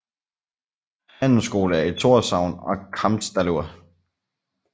Handelsskole er i Tórshavn og Kambsdalur